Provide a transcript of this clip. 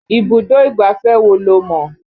Ibùdó ìgbáfẹ́ wo lo mọ̀?